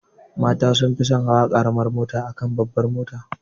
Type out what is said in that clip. Mata sun fi son hawa karamar mota akan babbar mota.